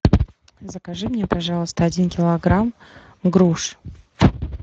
закажи мне пожалуйста один килограмм груш